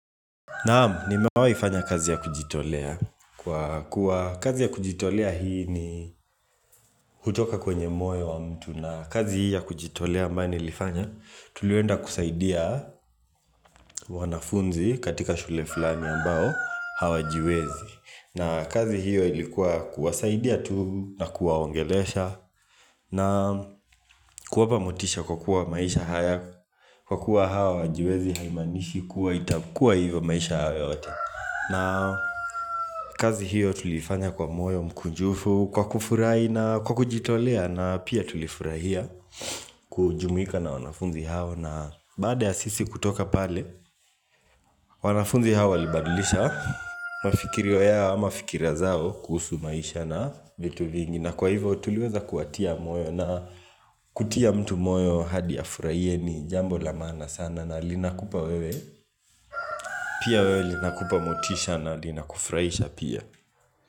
Naam, nimewahi fanya kazi ya kujitolea kwa kuwa kazi ya kujitolea hii ni kutoka kwenye moyo wa mtu na kazi hii ya kujitolea ambayo ilifanya, tulienda kusaidia wanafunzi katika shule fulani ambao hawajiwezi, na kazi hiyo ilikuwa kuwasaidia tu na kuwaongelesha na kuwapa motisha kwa kuwa maisha haya Kwa kuwa hawa hawajiwezi haimanishi kuwa itakuwa hivyo maisha yao yote na kazi hiyo tuliifanya kwa moyo mkunjufu, kwa kufurahi na kwa kujitolea na pia tulifurahia kujumuika na wanafunzi hao na baada ya sisi kutoka pale wanafunzi hao walibadilisha mafikirio au mafikira zao kuhusu maisha na vitu vingi. Na kwa hivo tuliweza kuwatia moyo na kutia mtu moyo hadi afurahie ni jambo la maana sana na linakupa wewe pia wewe linakupa motisha na linakufurahisha pia.